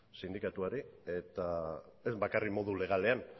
sindikatuari eta ez bakarrik modu legalean